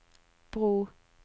bro